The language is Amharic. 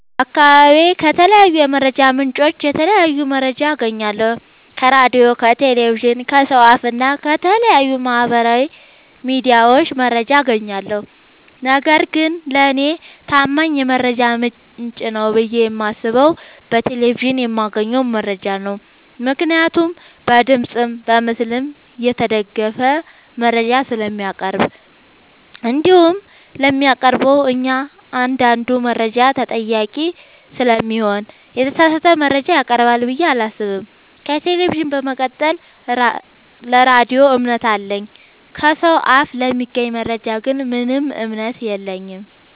በአካባቢዬ ከተለያዩ የመረጃ ምንጮች የተለያየ መረጃ አገኛለሁ ከራዲዮ ከቴሌቪዥን ከሰው አፋ እና ከተለያዩ ማህበራዊ ሚዲያዎች መረጃ አጋኛለሁ። ነገርግን ለኔ ታማኝ የመረጃ ምንጭ ነው ብዬ የማስበው በቴሌቪዥን የማገኘውን መረጃ ነው ምክንያቱም በድምፅም በምስልም የተደገፈ መረጃ ስለሚያቀርብ። እንዲሁም ለሚያቀርበው እኛአንዳዱ መረጃ ተጠያቂ ስለሚሆን የተሳሳተ መረጃ ያቀርባል ብዬ አላሰብም። ከቴሌቪዥን በመቀጠል ለራዲዮ እምነት አለኝ። ከሰው አፍ ለሚገኝ መረጃ ግን ምንም እምነት የለኝም።